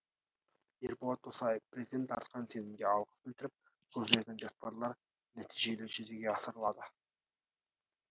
ерболат досаев президент артқан сенімге алғыс білдіріп көзделген жоспарлар нәтижелі жүзеге асырылады